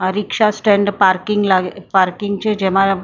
આ rickshaw stand parking લા parking છે જેમાં બે ત્રણ--